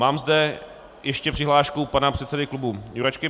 Mám zde ještě přihlášku pana předsedy klubu Jurečky.